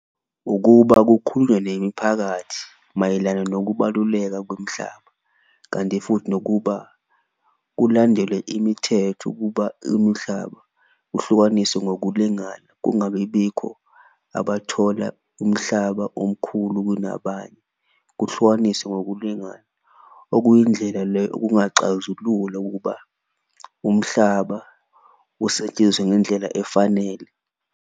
Ukuba kukhulunywe nemiphakathi mayelana nokubaluleka kwemhlaba kanti futhi nokuba kulandelwe imithetho ukuba umhlaba uhlukaniswe ngokulingana, kungabi bikho abathola umhlaba omkhulu kunabanye kuhlukaniswe ngokulingana. Okuyindlela le okungaxazulula ukuba umhlaba usetshenziswe ngendlela efanele.